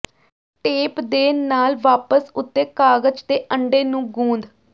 tape ਦੇ ਨਾਲ ਵਾਪਸ ਉੱਤੇ ਕਾਗਜ਼ ਦੇ ਅੰਡੇ ਨੂੰ ਗੂੰਦ